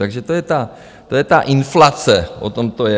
Takže to je ta inflace, o tom to je.